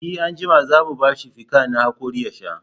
E, anjima za mu ba shi fikan na haƙori ya sha.